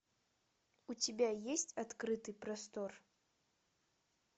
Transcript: у тебя есть открытый простор